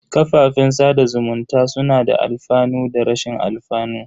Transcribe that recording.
Kafafen sada zumunta suna da alfanu da rashin alfanu.